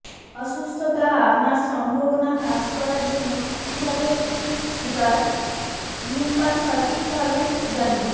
অসুস্থতা আপনার সম্ভাবনা হ্রাস করার জন্য কিভাবে একটি সিগার ধূমপান সঠিকভাবে জানুন